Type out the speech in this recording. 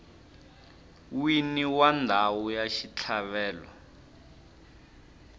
wini wa ndhawu ya xitlhavelo